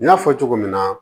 N y'a fɔ cogo min na